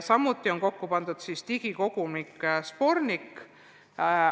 Samuti on kokku pandud digikogumik Sbornik.